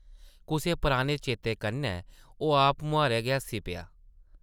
कुसै पराने चेते कन्नै ओह् आपमुहारें गै हस्सी पेआ ।